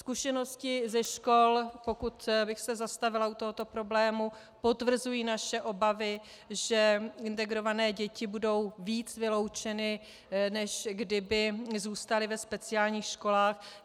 Zkušenosti ze škol, pokud bych se zastavila u tohoto problému, potvrzují naše obavy, že integrované děti budou víc vyloučeny, než kdyby zůstaly ve speciálních školách.